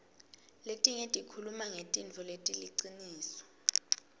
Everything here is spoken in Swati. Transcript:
letinye tikhuluma ngentfo leliciniso